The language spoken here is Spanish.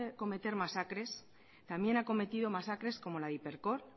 cometer masacres también ha cometido masacres como la de hipercor